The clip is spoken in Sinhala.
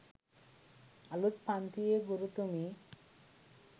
අලුත් පන්තියේ ගුරුතුමී